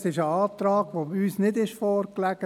Denn dies ist ein Antrag, der uns nicht vorlag.